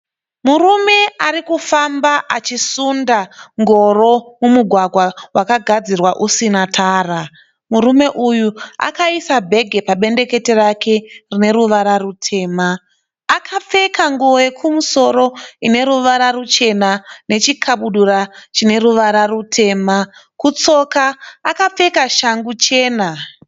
Murume ari kufamba achisunda ngoro mumugwagwa wakagadzirwa usina tara. Murume uyu akaisa bhegi pabendekete rake rine ruvara rutema. Akapfeka nguwo yekumusoro ine ruvara ruchena nechikabudura chine ruvara rutema. Kutsoka akapfeka shangu chena.